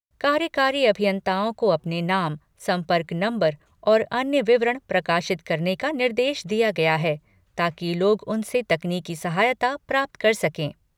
कार्यकारी अभियंताओं को अपने नाम, संपर्क नम्बर और अन्य विवरण प्रकाशित करने का निर्देश दिया गया है, ताकि लोग उनसे तकनीकी सहायता प्राप्त कर सके।